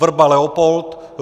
Vrba Leopold